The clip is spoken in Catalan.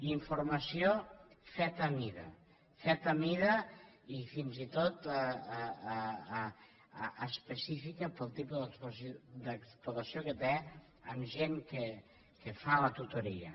i formació feta a mida feta a mida i fins i tot específica pel tipus d’explotació que té amb gent que fa la tutoria